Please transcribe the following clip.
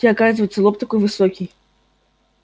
у тебя оказывается лоб такой высокий